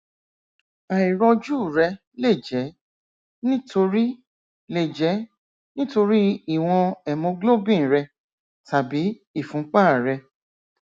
àìrọjú rẹ lè jẹ nítorí lè jẹ nítorí ìwọn hemoglobin rẹ tàbí ìfúnpá rẹ